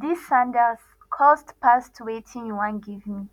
dis sandals cost past wetin you wan give me